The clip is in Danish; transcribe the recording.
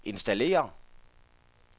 installere